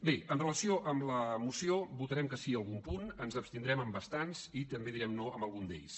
bé en relació amb la moció votarem que sí a algun punt ens abstindrem en bastants i també direm no en algun d’ells